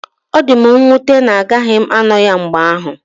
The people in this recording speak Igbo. Ọ dị m nwute na agaghị m ano ya mgbe ahụ.